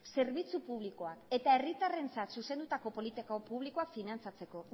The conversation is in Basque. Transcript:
zerbitzu publikoa eta herritarrentzat zuzendutako politika publikoa finantzatzeko